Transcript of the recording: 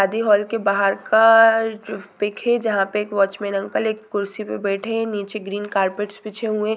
शादी हॉल के बाहर का जो पीक है जहाँ पे एक वाच मेन अंकल एक कुर्सी पर बैठे है नीचे ग्रीन कार्पेट बिछे हुए--